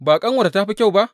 Ba ƙanuwarta ta fi kyau ba?